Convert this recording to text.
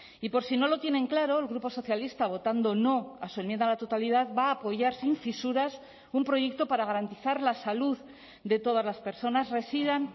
y por si no lo tienen claro el grupo socialista votando no a su enmienda a la totalidad va a apoyar sin fisuras un proyecto para garantizar la salud de todas las personas residan